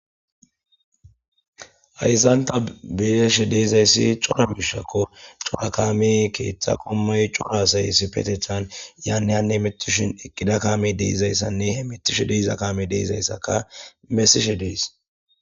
Ayzanta beeshe deezayssi cora biishakko cora kame keeththa qommay cora sayessi petechan yaannehanne mitishin eqqida kaame deizayssanne he mitushe deiza kame deezayssaka mesishe dees.